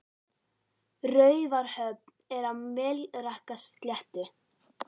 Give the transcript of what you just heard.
Raufarhöfn er á Melrakkasléttu.